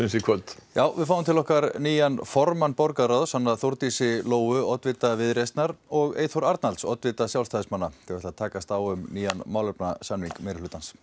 í kvöld já við fáum til okkar nýjan formann borgarráðs hana Þórdísi Lóu oddvita Viðreisnar og Eyþór Arnalds oddvita Sjálfstæðismanna til að takast á um nýjan málefnasamning meirihlutans